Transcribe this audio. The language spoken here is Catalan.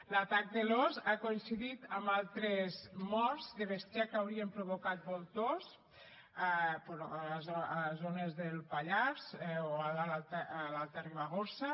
l’atac de l’ós ha coincidit amb altres morts de bestiar que haurien provocat voltors però a zones del pallars o a l’alta ribagorça